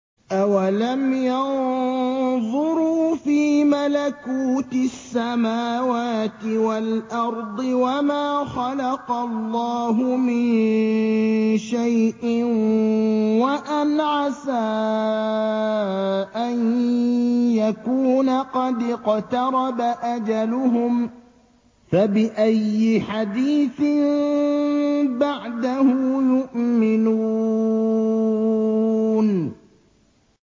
أَوَلَمْ يَنظُرُوا فِي مَلَكُوتِ السَّمَاوَاتِ وَالْأَرْضِ وَمَا خَلَقَ اللَّهُ مِن شَيْءٍ وَأَنْ عَسَىٰ أَن يَكُونَ قَدِ اقْتَرَبَ أَجَلُهُمْ ۖ فَبِأَيِّ حَدِيثٍ بَعْدَهُ يُؤْمِنُونَ